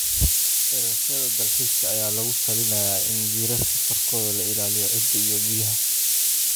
beerashada dalxiiska ayaa lagula talinayaa in jiirarka korkooda la ilaaliyo ciidda iyo biyaha.